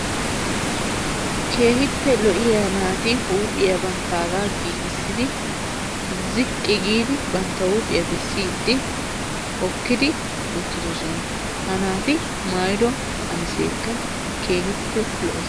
Keehippe lo'iyaa naati huuphiyaa banttaga giigissidi hookkidi uttidoosona. ha naati maayyido qamissekka keehin lo''es.